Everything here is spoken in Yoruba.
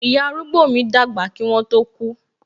Ìyá arúgbó mi dàgbà kí wọn tó ku